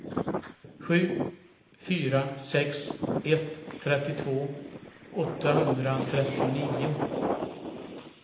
sju fyra sex ett trettiotvå åttahundratrettionio